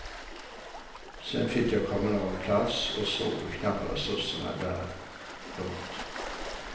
Sen fick jag kommunal plats och såg hur knappa resurserna är där. punkt